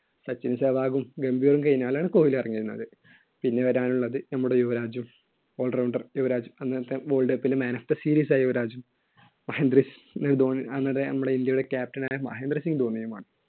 സച്ചിനും സേവാഗും ഗംഭീറും കഴിഞ്ഞാലാണ് കോഹ്ലി ഇറങ്ങി വരുന്നത്. പിന്നെ വരാനുള്ളത് നമ്മുടെ യുവരാജും, all rounder യുവരാജ്. അന്നത്തെ world cup ലെ man of the series ആയ യുവരാജ്. മഹേന്ദ്രസിങ് ധോണി അന്നത്തെ നമ്മുടെ ഇൻഡ്യയുടെ captain ആയ മഹേന്ദ്രസിങ് ധോണിയുമാണ്‌.